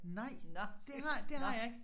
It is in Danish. Nej det har det har jeg ikke